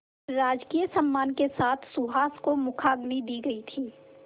राजकीय सम्मान के साथ सुहास को मुखाग्नि दी गई थी